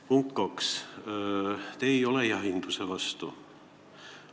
Punkt kaks, te ei ole jahinduse vastu.